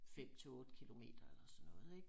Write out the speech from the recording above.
5 til 8 kilometer